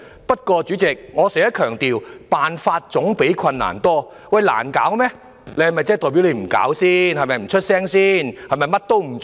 不過，代理主席，我經常強調，辦法總比困難多，如果難以處理，是否代表政府便不用處理、不發聲或甚麼也不做？